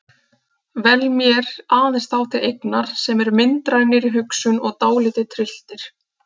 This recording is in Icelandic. Vel mér aðeins þá til eignar sem eru myndrænir í hugsun og dálítið trylltir.